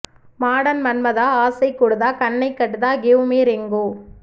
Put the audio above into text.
modern Manmatha ஆசை கூடுதா கண்ணை கட்டுதா கிவ் மீ ரிங்கு